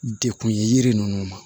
Dekun ye yiri ninnu ma